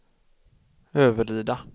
Överlida